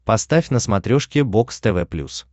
поставь на смотрешке бокс тв плюс